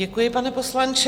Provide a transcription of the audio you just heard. Děkuji, pane poslanče.